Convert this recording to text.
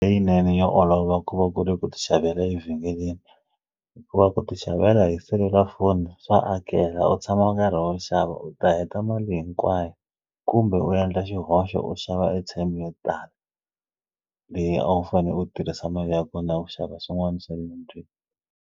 Leyinene ya olova ku va ku ri ku ti xavela evhengeleni hikuva ku ti xavela hi selulafoni swa akela u tshama u karhi u xava u ta heta mali hinkwayo kumbe u yendla xihoxo u xava airtime yo tala leyi a wu fane u tirhisa mali ya kona ku xava swin'wani swa le .